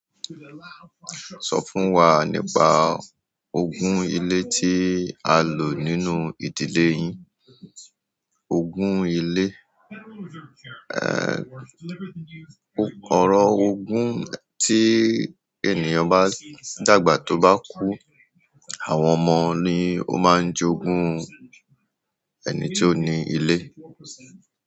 So fún wa nípa ogún ile tí a lò nínú ìdílé yín. Ogún ilé ọ̀ro ogún tí ènìyàn bá dàgbà tó bá kú, àwọn ọmọ ni ó máa jogún ẹni tí ó ni ilé.